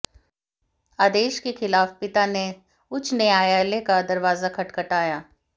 आदेश के खिलाफ पिता ने उच्च न्यायालय का दरवाजा खटखटाया